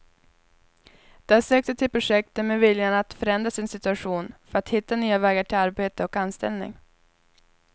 De har sökt sig till projektet med viljan att förändra sin situation för att hitta nya vägar till arbete och anställning.